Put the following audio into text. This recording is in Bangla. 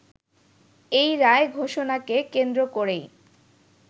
এই রায় ঘোষণাকে কেন্দ্র করেই